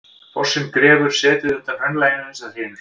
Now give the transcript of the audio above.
Fossinn grefur setið undan hraunlaginu uns það hrynur.